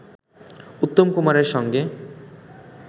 উত্তম কুমারের সঙ্গে